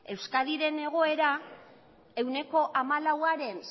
euskadiren egoera ehuneko hamalauaren